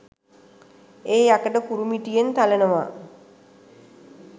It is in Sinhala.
ඒ යකඩ කූරු මිටියෙන් තලනවා